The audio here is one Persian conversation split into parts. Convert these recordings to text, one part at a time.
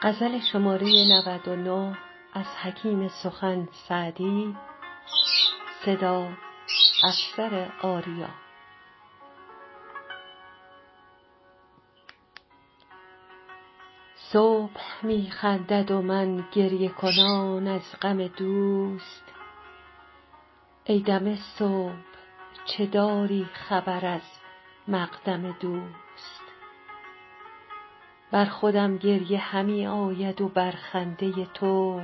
صبح می خندد و من گریه کنان از غم دوست ای دم صبح چه داری خبر از مقدم دوست بر خودم گریه همی آید و بر خنده تو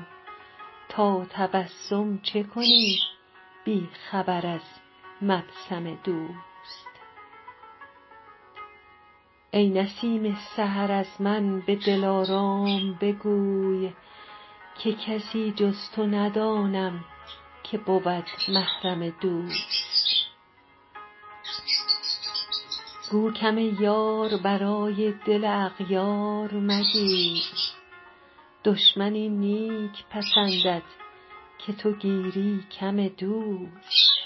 تا تبسم چه کنی بی خبر از مبسم دوست ای نسیم سحر از من به دلارام بگوی که کسی جز تو ندانم که بود محرم دوست گو کم یار برای دل اغیار مگیر دشمن این نیک پسندد که تو گیری کم دوست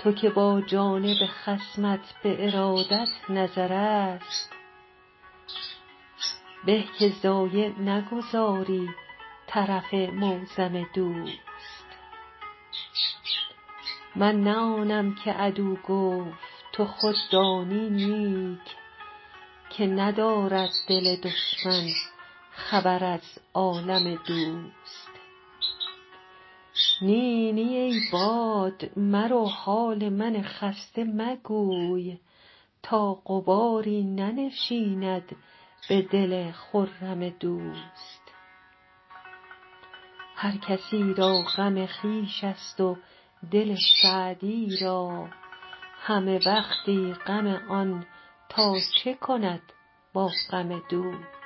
تو که با جانب خصمت به ارادت نظرست به که ضایع نگذاری طرف معظم دوست من نه آنم که عدو گفت تو خود دانی نیک که ندارد دل دشمن خبر از عالم دوست نی نی ای باد مرو حال من خسته مگوی تا غباری ننشیند به دل خرم دوست هر کسی را غم خویش ست و دل سعدی را همه وقتی غم آن تا چه کند با غم دوست